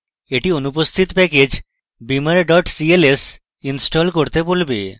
এটি অনুপস্থিত package beamer cls install করতে বলবে